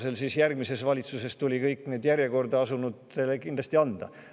Seega tuli järgmise valitsuse ajal see kõikidele järjekorda asunutele kindlasti anda.